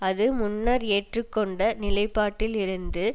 அது முன்னர் ஏற்றுக்கொண்ட நிலைப்பாட்டில் இருந்து